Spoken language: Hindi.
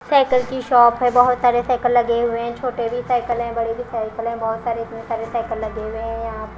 साइकिल की शाॅप है बहोत सारे साइकिल लगे हुए है छोटे भी साइकिल है बड़े भी साइकिल है बहोत सारे इतने सारे साइकिल लगे हुए यहा पे--